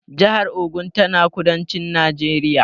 Jahar Ogun tana kudancin Najeriya